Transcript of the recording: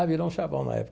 Ah, virou um chavão na